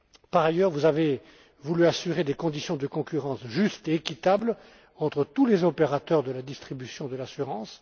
Par ailleurs, vous avez voulu assurer des conditions de concurrence justes et équitables entre tous les opérateurs de la distribution de l'assurance.